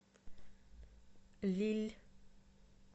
лилль